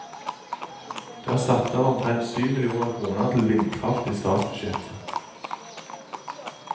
Det er satt av omtrent syv millioner kroner til vindkraft i statsbudsjettet.